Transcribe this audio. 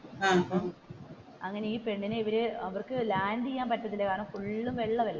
അങ്ങനെ ഈ പെണ്ണിനെ ഇവർ ഇവർക്ക് ലാൻഡ് ചെയ്യാൻ പറ്റുന്നില്ല കാരണം ഫുൾ വെള്ളം അല്ലെ.